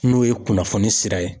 N'o ye kunnafoni sira ye.